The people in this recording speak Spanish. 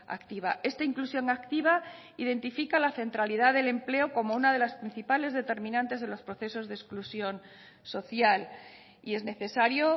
activa esta inclusión activa identifica la centralidad del empleo como una de las principales determinantes de los procesos de exclusión social y es necesario